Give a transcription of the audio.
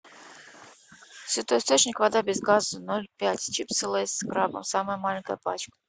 святой источник вода без газа ноль пять чипсы лейс с крабом самая маленькая пачка